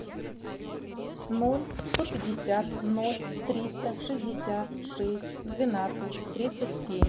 ноль сто пятьдесят ноль триста шестьдесят шесть двенадцать тридцать семь